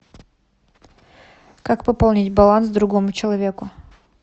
как пополнить баланс другому человеку